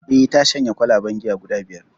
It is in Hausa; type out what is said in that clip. Eh ta shanye kwalaben giya guda biyar